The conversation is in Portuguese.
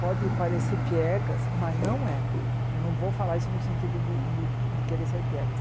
Pode parecer piegas, mas não é. Eu não vou falar isso no sentido de de de querer ser piegas.